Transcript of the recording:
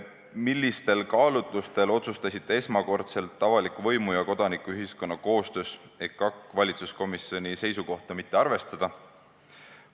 Millistel kaalutlustel otsustasite esmakordselt avaliku võimu ja kodanikuühiskonna koostöös EKAK-i valitsuskomisjoni seisukohta mitte arvestada?